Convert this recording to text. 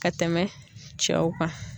Ka tɛmɛ cɛw kan.